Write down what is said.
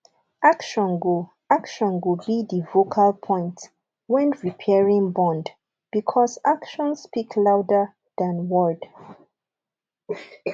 action go action go be di vocal point when repairing bond because action speak louder than word